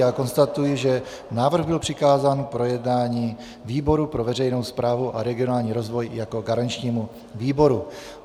Já konstatuji, že návrh byl přikázán k projednání výboru pro veřejnou správu a regionální rozvoj jako garančnímu výboru.